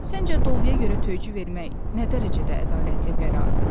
Səncə doluya görə töycü vermək nə dərəcədə ədalətli qərardır?